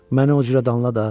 Məni o cürə danla da.